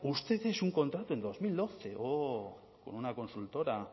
usted hizo un contrato en dos mil doce oh con una consultora